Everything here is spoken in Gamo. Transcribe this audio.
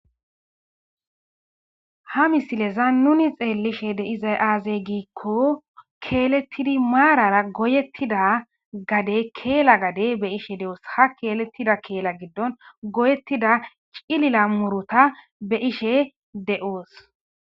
Ha misileza nuni xeelishe deiza aaze giikko keelettidi maarara goyettida gade keela gade be ishe de7oos ha keelettida keela giddon goyettida cilila murota be ishe de7oos.